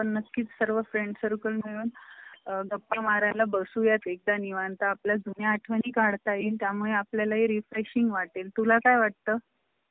असं त्यांनी हे केलेलं होत एकोणीसशे साठ साल या स्टुटगार्ड येथे पहिली आंतरराष्ट्रीय समाजवादी महिला परिषद भरली त्याच्या मध्ये क्लारा झेडकीं या feminist कार्यकर्तीने सर्वात अधिक